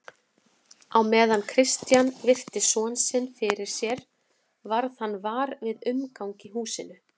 Á meðan Christian virti son sinn fyrir sér varð hann var við umgang í húsinu.